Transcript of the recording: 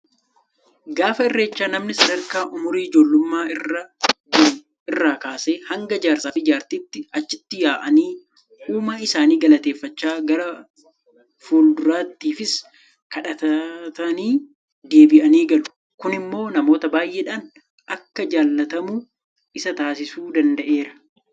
Gaafa irreechaa namni sadarkaa umurii ijoollummaa irra jiru irraa kaasee hanga jaarsaafi Jaartiitti achitti yaa'anii uumaa isaanii galateeffachaa gara fuulduraatiifis kadhatatanii deebi'anii galu. Kun immoo namoota baay'eedhaan akka jaalatamu isa taasisuu danda'eera.